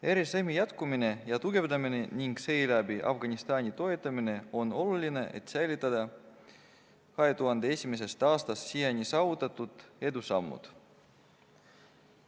RSM-i jätkumine ja tugevdamine ning seeläbi Afganistani toetamine on oluline, et säilitada 2001. aastast siiani saavutatud edusammud.